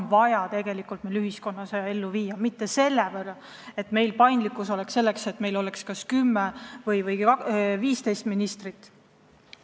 Meil paindlikkus ei tohiks piirduda sellega, et meil võib olla kas 10 või 15 ministrit.